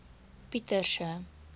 pieterse